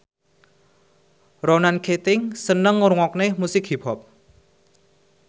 Ronan Keating seneng ngrungokne musik hip hop